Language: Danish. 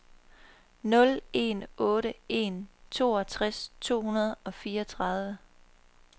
nul en otte en treogtres to hundrede og fireogtredive